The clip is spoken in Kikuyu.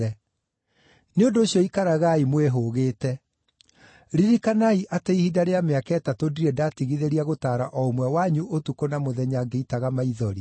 Nĩ ũndũ ũcio ikaragai mwĩhũgĩte! Ririkanai atĩ ihinda rĩa mĩaka ĩtatũ ndirĩ ndatigithĩria gutaara o ũmwe wanyu ũtukũ na mũthenya ngĩitaga maithori.